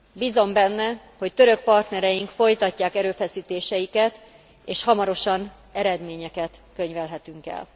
Bízom benne, hogy török partnereink folytatják erőfeszítéseiket, és hamarosan eredményeket könyvelhetünk el.